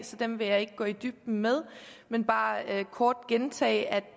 så dem vil jeg ikke gå i dybden med men bare kort gentage at